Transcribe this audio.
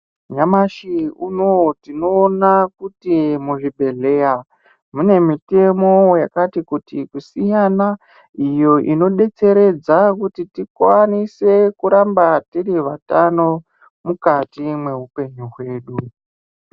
Nyamashi unowu tinoona kuti muzvibhedhleya, mune mitemo yakati kuti kusiyana, iyo inodetseredza kuti tikwanise kuramba tiri vatano, mukati mweupenyu hwedu.